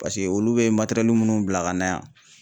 Paseke olu bɛ minnu bila ka na yan.